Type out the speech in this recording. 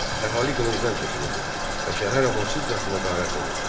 Əhali qılıncdan keçirildi və şəhər amansızcasına qarət olundu.